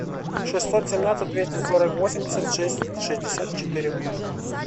шестьсот семнадцать двести сорок восемьдесят шесть шестьдесят четыре